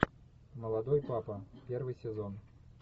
молодой папа первый сезон